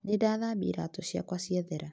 Nĩndathambia iratũ ciakwa ciathera